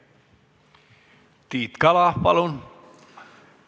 Tiit Kala, palun!